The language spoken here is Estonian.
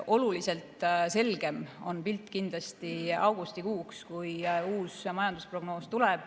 Oluliselt selgem on pilt kindlasti augustikuuks, kui tuleb uus majandusprognoos.